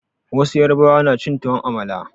Wasu yarbawa na cin tuwon amala.